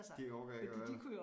De orker ikke at være der